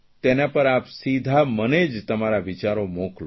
તેના પર આપ સીધા જ મને જ તમારા વિચારો મોકલો